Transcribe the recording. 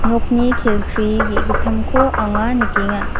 nokni kelkri ge·gittamko anga nikenga.